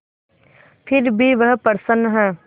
फिर भी वह प्रसन्न है